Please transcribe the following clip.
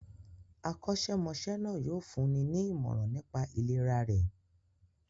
Akọ́ṣẹ́mọṣẹ́ náà yóò fún ní ìmọ̀ràn nipá ìlera rẹ̀.